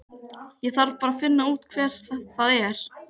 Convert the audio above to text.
Ég þarf bara að finna út hver það er.